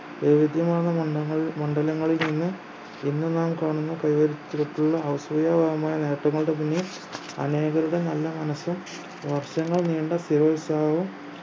വൈവിധ്യമാർന്ന മണ്ഡങ്ങൾ മണ്ഡലങ്ങളിൽ നിന്ന് ഇന്ന് നാം കാണുന്ന creativity യിൽ അസൂയ തോന്നുന്ന നേട്ടങ്ങളുടെ പിന്നിൽ അനേകരുടെ നല്ല മനസ്സും വർഷങ്ങൾ നീണ്ട സ്ഥിരോത്സാഹവും